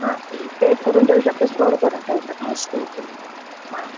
हां, टेप करून ठेवू शकतो, स्टोर करून ठेवू शकतो. हां.